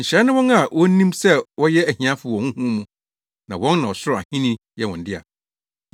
“Nhyira ne wɔn a wonim sɛ wɔyɛ ahiafo wɔ honhom mu, na wɔn na ɔsoro ahenni yɛ wɔn dea.